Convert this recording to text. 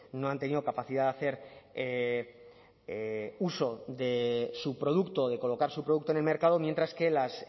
no han tenido capacidad de hacer uso de su producto de colocar su producto en el mercado mientras que las